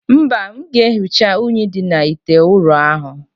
Mba, m ga-ehicha unyi dị n' ite ụrọ ahụ.